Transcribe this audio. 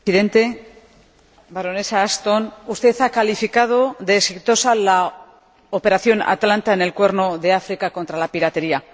Señor Presidente, Baronesa Ashton, usted ha calificado de exitosa la operación Atalanta, en el Cuerno de África, contra la piratería.